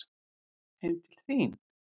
Heim til þín?